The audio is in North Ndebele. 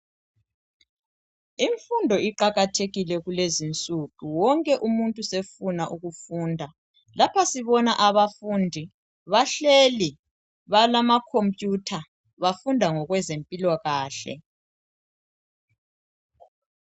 Imfundo iqakathekile kulezinsuku Wonke umuntu sefuna ukufunda Lapha sibona abafundi bahleli balama computer bafunda ngokwezempilakahle